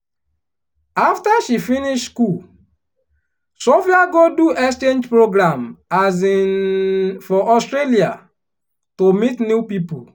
after she finish school sophia go do exchange program um for australia to meet new people.